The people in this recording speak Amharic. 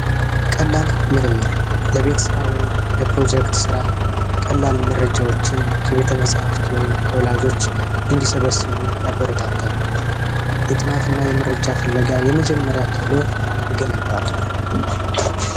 ቀላል ምርምር ለቤት ሥራ ወይም ለፕሮጀክት ሥራ ቀላል መረጃዎችን ከቤቴ መፃህፍት ወይም ከቤተሰብ እንዲሰበስቡ ያበረታታል የጥናትና የመረጃ ፍለጋ የመጀመሪያ ክህሎት ይገነባል